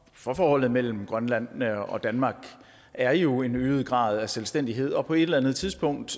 for forholdet mellem grønland og danmark er jo en øget grad af selvstændighed og på et eller andet tidspunkt